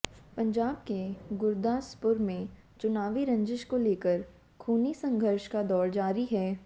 पंजाब के गुरदासपुर में चुनावी रंजिश को लेकर खूनी संघर्ष का दौर जारी है